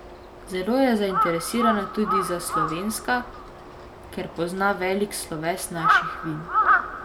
Zelo je zainteresirana tudi za slovenska, ker pozna velik sloves naših vin.